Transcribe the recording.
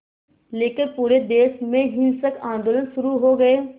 लेकर पूरे देश में हिंसक आंदोलन शुरू हो गए